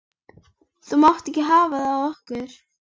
Þú mátt ekki hafa það af okkur